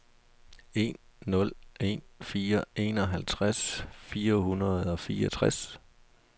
en nul en fire enoghalvtreds fire hundrede og fireogtres